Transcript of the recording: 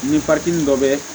Ni dɔ bɛ